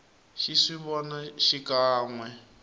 xi swi vona xikan we